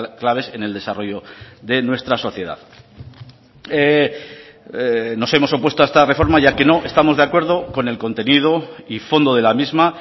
claves en el desarrollo de nuestra sociedad nos hemos opuesto a esta reforma ya que no estamos de acuerdo con el contenido y fondo de la misma